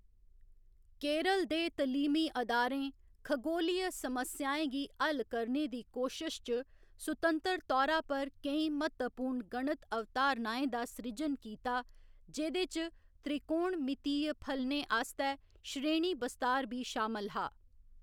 केरल दे तलीमी अदारें खगोलीय समस्याएं गी हल करने दी कोशश च, सुतंतर तौरा पर केईं म्हत्तवपूर्ण गणित अवधारणाएं दा सृजन कीता, जेह्‌‌‌दे च त्रिकोणमितीय फलनें आस्तै श्रेणी बस्तार बी शामल हा।